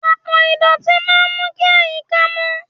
Àpò ìdọ̀tí máa ń mú kí àyíká mó.